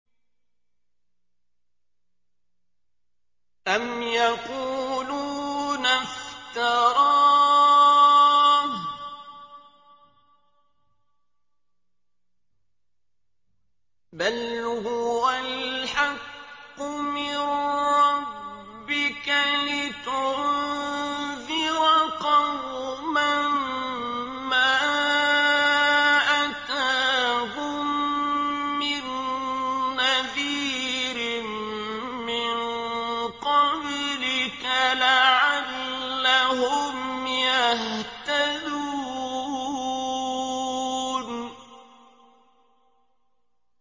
أَمْ يَقُولُونَ افْتَرَاهُ ۚ بَلْ هُوَ الْحَقُّ مِن رَّبِّكَ لِتُنذِرَ قَوْمًا مَّا أَتَاهُم مِّن نَّذِيرٍ مِّن قَبْلِكَ لَعَلَّهُمْ يَهْتَدُونَ